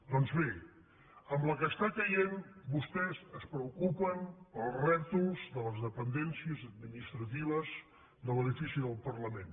doncs bé amb la que cau vostès es preocupen pels rètols de les dependències administratives de l’edifici del parlament